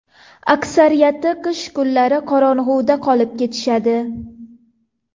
Aksariyati qish kunlari qorong‘uda qolib ketishadi.